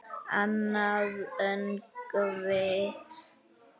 Annað öngvit